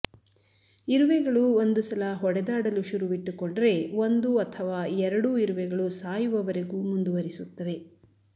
ಇರುವೆಗಳು ಒಂದು ಸಲ ಹೊಡೆದಾಡಲು ಶುರುವಿಟ್ಟುಕೊಂಡರೆ ಒಂದು ಅಥವಾ ಎರಡೂ ಇರುವೆಗಳು ಸಾಯುವವರೆಗೂ ಮುಂದುವರಿಸುತ್ತವೆ